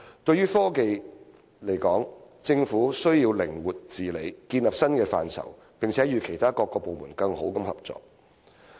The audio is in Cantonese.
對於科學技術來說，政府需要靈活治理，建立新的規範，並且與其他各部門更好地合作。